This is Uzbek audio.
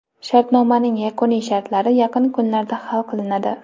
Shartnomaning yakuniy shartlari yaqin kunlarda hal qilinadi.